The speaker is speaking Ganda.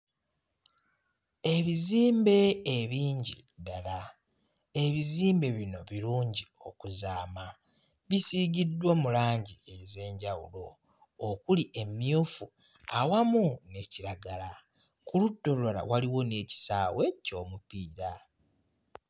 Ebizimbe ebingi ddala, ebizimbe bino birungi okuzaama bisiigiddwa mu langi ez'enjawulo okuli emmyufu awamu ne kiragala, ku ludda olulala waliwo n'ekisaawe ky'omupiira.